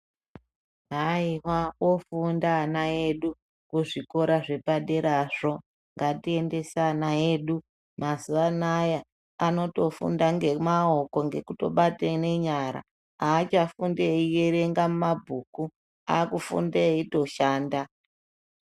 nda ana edu kuzvikora zvepadera zvo. Ngatiendese ana edu mazuva anaaya ava kutofunda nemaoko etobata nenyara hachafundi eyi erenga muma bhuku akufunda eyitoshanda.